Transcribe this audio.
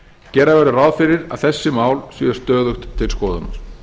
gera verður ráð fyrir að þessi mál séu stöðugt til skoðunar